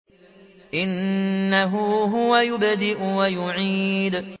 إِنَّهُ هُوَ يُبْدِئُ وَيُعِيدُ